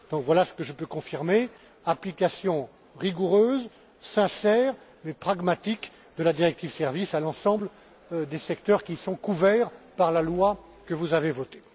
Voilà ce que je peux confirmer application rigoureuse, sincère, mais pragmatique de la directive sur les services à l'ensemble des secteurs qui sont couverts par la loi que vous avez votée.